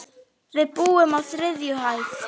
Við búum á þriðju hæð.